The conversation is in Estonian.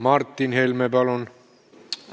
Martin Helme, palun!